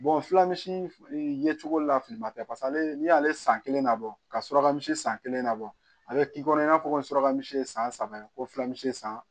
fila misi ye cogo la kilema tɛ pase ale n'i y'ale san kelen labɔ ka suraka misi san kelen labɔ a bɛ k'i kɔnɔ i n'a fɔ ko suraka misi san saba ko furancɛ san